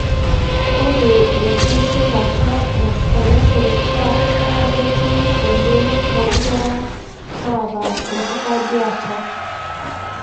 ore engitirata e respiratory tract na ketii oleng tonkera naata enkitandiata.